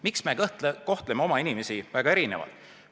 Miks me kohtleme oma inimesi väga erinevalt?